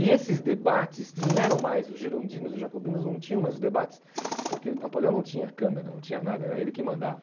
E esses debates não eram mais os girondinos e jacobinos, não tinham mais os debates, porque Napoleão não tinha câmera, não tinha nada, era ele que mandava.